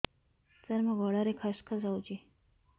ସାର ମୋ ଗଳାରେ ଖସ ଖସ ହଉଚି